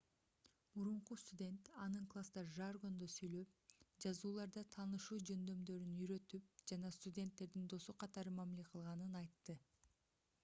мурунку студент анын класста жаргондо сүйлөп жазууларда таанышуу жөндөмдөрүн үйрөтүп жана студенттердин досу катары мамиле кылганын айтты